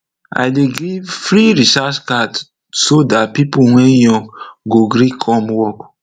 i dey give free recharge card so dat pipo wey young go gree come work